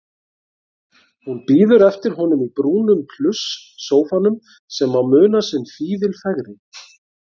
Hún bíður eftir honum í brúnum plusssófanum sem má muna sinn fífil fegri.